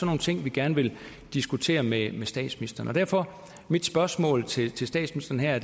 nogle ting vi gerne vil diskutere med statsministeren derfor mit spørgsmål til statsministeren her